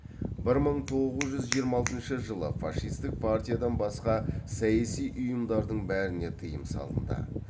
бір мың тоғыз жүз жиырма алтыншы жылы фашистік партиядан басқа саяси ұйымдардың бәріне тыйым салынды